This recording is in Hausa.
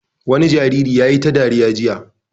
Wani jariri ya yi ta dariya jiya.